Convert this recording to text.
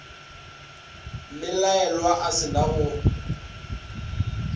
mmelaelwa a se na go